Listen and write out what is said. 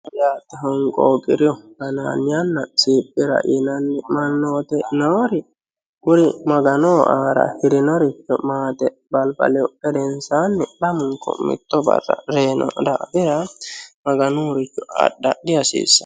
Honqooqiru anaannana siphira yinanni mannooti noori kuri maganoho aara afirinoricho maganoho maaxe balbale harihu gedensaani lamunku mitto barra reyiino daafira maganuyiiricho adha dihasiissano.